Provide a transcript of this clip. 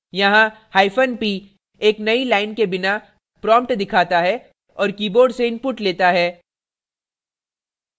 यहाँ p एक नयी लाइन के बिना prompt दिखाता है और keyboard से input लेता है